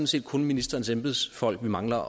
set kun ministerens embedsfolk vi mangler